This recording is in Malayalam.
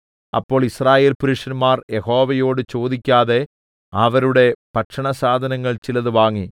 അപ്പോൾ യിസ്രായേൽപുരുഷന്മാർ യഹോവയോട് ചോദിക്കാതെ അവരുടെ ഭക്ഷണസാധനങ്ങളിൽ ചിലത് വാങ്ങി